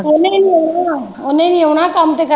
ਉਹਨੇ ਈ ਨਈਂ ਆਉਣਾ ਉਹਨੇ ਈ ਨਈਂ ਆਉਣਾ ਕੰਮ ਕਰਨਾ ਪੈਣਾ।